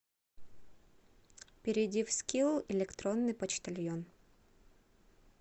перейди в скилл электронный почтальон